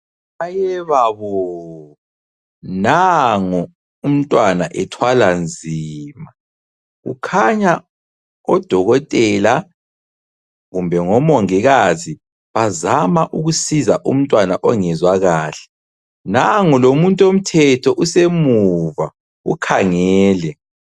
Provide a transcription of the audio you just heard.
Mayebabo! Nango umntwana ethwala nzima. Kukhanya odokotela kumbe ngomongikazi bazama ukusiza umntwana ongezwa kahle, nango lomuntu womthetho usemuva ukhangele